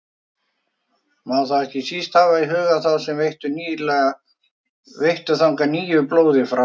Má þá ekki síst hafa í huga þá sem veittu þangað nýju blóði frá